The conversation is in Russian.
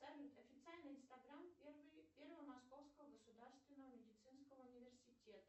салют официальный инстаграм первого московского государственного медицинского университета